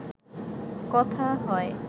কথা হয়